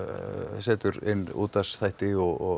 setur inn útvarpsþætti og